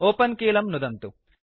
open कीलं नुदन्तु